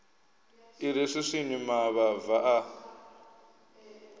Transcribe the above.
i re swiswini mavhava a